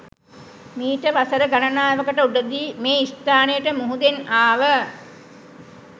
මීට වසර ගණනාවකට උඩදී මේ ස්ථානයට මුහුදෙන් ආව